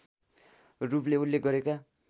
रूपले उल्लेख गरेका